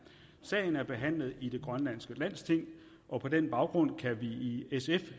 sagen er behandlet i det grønlandske landsting og på den baggrund kan vi i sf